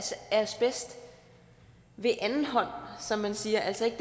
asbest ved andenhånd som man siger altså ikke